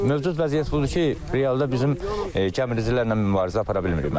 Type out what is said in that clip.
Mövcud vəziyyət budur ki, realda bizim gəmiricilərlə mübarizə apara bilmirik müəllim.